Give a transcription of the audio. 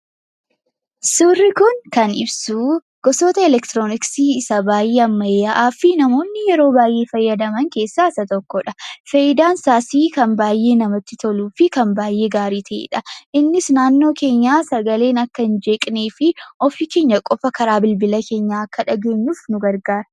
Surri kun kan ibsuu gosoota Elektironiksii isa baay'ee ammayaahaafi namooni yeroo baay'ee faayadamaan keessa isaa tokkodha. Faayiidaan isaas kan baay'ee namatti tolufi gaarii ta'eedha. Innis naannoo keenyaa sagaleen akka in jeqneefi ofi keenyaa qofa karaa bilbilaa keenyaa akka dhageenyuuf nu gargaara.